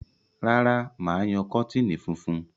Rárá, mà á yan kọ́tìnì funfun.